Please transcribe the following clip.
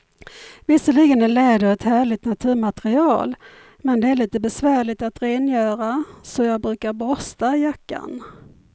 Visserligen är läder ett härligt naturmaterial, men det är lite besvärligt att rengöra, så jag brukar borsta jackan.